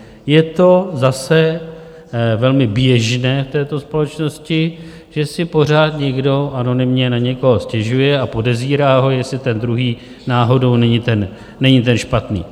Je to zase velmi běžné v této společnosti, že si pořád někdo anonymně na někoho stěžuje a podezírá ho, jestli ten druhý náhodou není ten špatný.